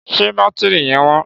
Ṣé bátírí yẹn wọ́n?